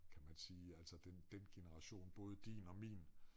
Kan man sige altså den den generation både din og min